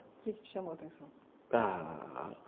O que que te chamou a atenção? ah...